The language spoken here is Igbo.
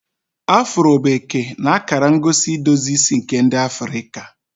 Afro bụ eke na akara ngosi idozi isi nke ndi Afrika.